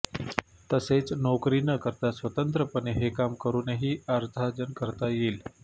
तसेच नोकरी न करता स्वतंत्रपणे हे काम करूनही अर्थार्जन करता येईल